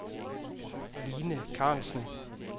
Line Carlsen